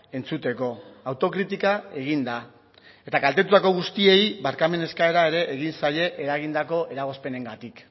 entzuteko autokritika egin da eta kaltetutako guztiei barkamen eskaera ere egin zaie eragindako eragozpenengatik